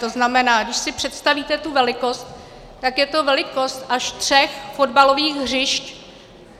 To znamená, když si představíte tu velikost, tak je to velikost až tří fotbalových hřišť.